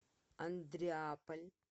андреаполь